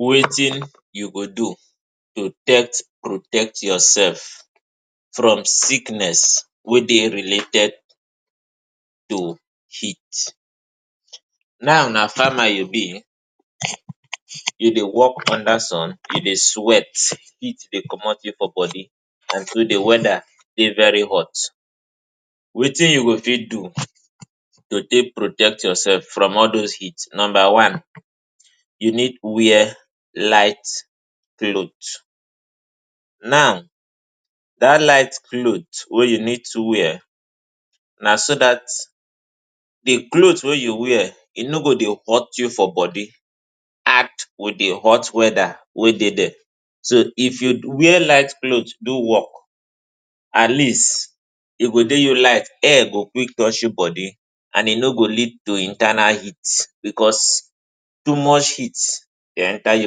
Wetin you go do to take protect yoursef from sickness wey dey related to heat. Now na farmer you be, you been dey wok under sun, you dey sweat, heat dey comot for body and so di weather dey very hot. Wetin you go fit do to take protect yoursef from all those heat. Numba one, you need wear light cloth. Now dat light cloth wey you need to wear na so that di cloth wey you wear e no go dey hurt you for body add wit di hot weather wey dey there. So if you wear light cloth do wok, at least e go dey you light, air go quick touch your body and e no go lead to internal heat bicos too much heat dey enta di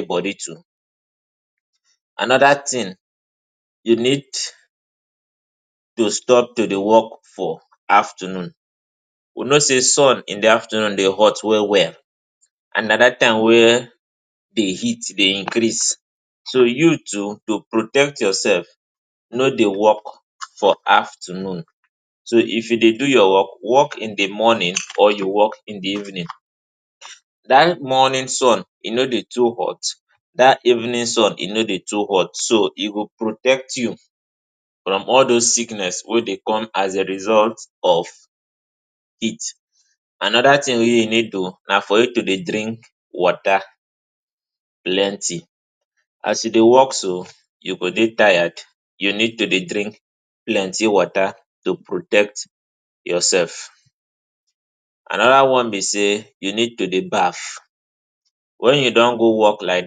body too. Anoda tin you need to stop to dey wok for afternoon. We know say sun in di afternoon dey hot well well and na dat time wey di heat dey increase. So you too, protect yoursef, no dey wok for afternoon. So if you dey do your wok in di morning or you wok in di evening, dat morning sun e no dey too hot, dat evening so e no dey too hot, so e go protect you from all those sickness wey dey come as a result of heat. Anoda tin wey you need to know na for you to dey drink water plenty. As you dey wok so you go dey tired, you need to dey drink plenty water to protect yoursef. Anoda one be say you need to dey baff wen you don go wok like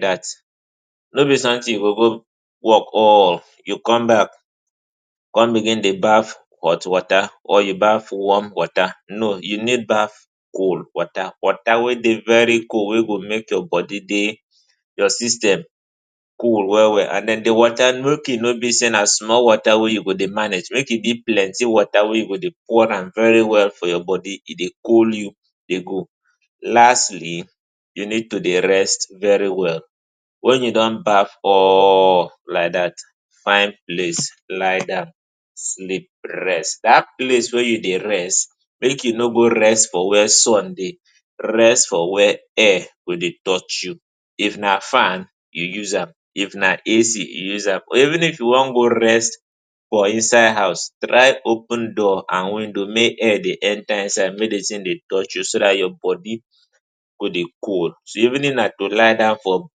dat. No be sometin say you go go wok, all you come back come begin dey baff hot water or you baff warm water. No. You need baff cold water, water wey dey very cold, wey go make your body, your system cool well well. Di water, make e no be say na small water wey you go dey manage. Make e be plenty water wey you go dey pour am very well for your body. E dey cool you dey go. Lastly, you need to dey rest very well. Wen you don baff or like dat, find place, lie down, sleep, rest. Dat place wey you dey rest, make e no be say you go rest for wia sun dey. Rest for wia air go dey touch you. If na fan, you use am. If na A.C., use am. Even if you wan go rest for inside house, try open door and window make air dey enta inside, make di tin dey touch you so that your body go dey cold. So even if na to lie down for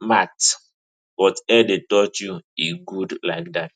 mat but air dey touch you, e good like dat.